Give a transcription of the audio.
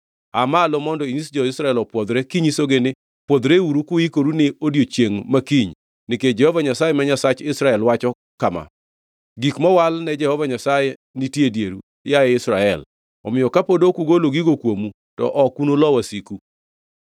“Aa malo mondo inyis jo-Israel opwodhre kinyisogi ni, ‘Pwodhreuru kuikoru ni odiechiengʼ ma kiny nikech Jehova Nyasaye ma Nyasach Israel wacho kama: Gik mowal ne Jehova Nyasaye nitie e dieru, yaye Israel, omiyo kapod ok ugolo gigo kuomu, to ok unulo wasiku.